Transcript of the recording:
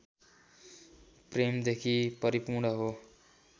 प्रेमदेखि परिपूर्ण हो